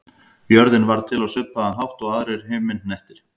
Jörðin varð til á svipaðan hátt og aðrir himinhnettir.